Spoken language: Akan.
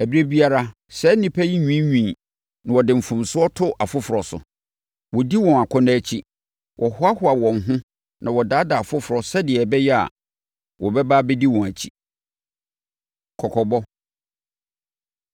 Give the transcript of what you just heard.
Ɛberɛ biara, saa nnipa yi nwiinwii na wɔde mfomsoɔ to afoforɔ so. Wɔdi wɔn akɔnnɔ akyi. Wɔhoahoa wɔn ho na wɔdaadaa afoforɔ sɛdeɛ ɛbɛyɛ a, wɔbɛba abɛdi wɔn akyi. Kɔkɔbɔ